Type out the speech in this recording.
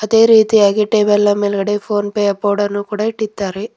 ಅದೇ ರೀತಿಯಾಗಿ ಟೇಬಲ್ ನ ಮೇಲ್ಗಡೆ ಫೋನ್ ಪೇ ಯ ಬೋರ್ಡ್ ಅನ್ನು ಇಟ್ಟಿದ್ದಾರೆ.